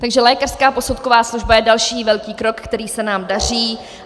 Takže lékařská posudková služba je další velký krok, který se nám daří.